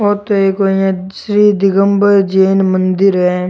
ओ तो एक कोई श्री दिगंबर जैन मन्दिर है।